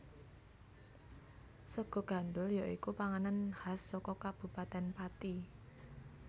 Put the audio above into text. Sega gandhul ya iku panganan khas saka Kabupatèn Pati